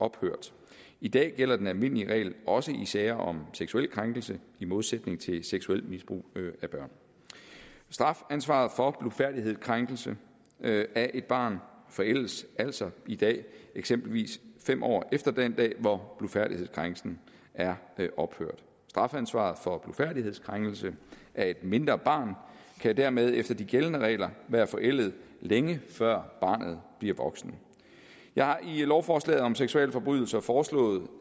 ophørt i dag gælder den almindelige regel også i sager om seksuelle krænkelser i modsætning til seksuelt misbrug af børn strafansvaret for blufærdighedskrænkelse af et barn forældes altså i dag eksempelvis fem år efter den dag hvor blufærdighedskrænkelsen er ophørt strafansvaret for blufærdighedskrænkelse af et mindre barn kan dermed efter de gældende regler være forældet længe før barnet bliver voksen jeg har i lovforslaget om seksualforbrydelser foreslået